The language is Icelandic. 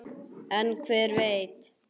En hver veit?